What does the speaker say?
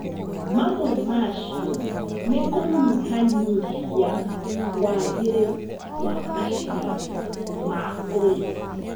Mamwe macio nĩ kũnyihanyihia wagĩrĩru wa maciaro ma ũrĩmi